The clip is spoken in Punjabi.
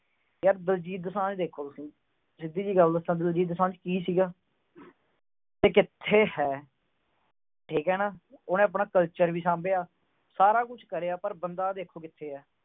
ਯਾਰ ਦਲਜੀਤ ਦੁਸਾਂਝ ਦੇਖੋ ਤੁਸੀਂ। ਸਿੱਧੀ ਜੀ ਗੱਲ ਦੱਸਾ। ਦਲਜੀਤ ਦੁਸਾਂਝ ਕੀ ਸੀਗਾ। ਤੇ ਕਿੱਥੇ ਹੈ। ਠੀਕ ਆ ਨਾ। ਉਹਨੇ ਆਪਣਾ culture ਵੀ ਸਾਂਭਿਆ। ਸਾਰਾ ਕੁਛ ਕਰਿਆ ਤੇ ਬੰਦਾ ਦੇਖੋ ਅੱਜ ਕਿੱਥੇ ਆ।